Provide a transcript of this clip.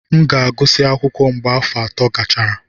M ga-agụsị akwụkwọ mgbe afọ ato gachara.